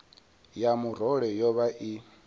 ya murole yo vha i